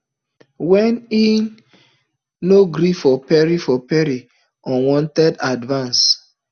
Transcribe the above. wen e no gree for perry for perry unwanted advances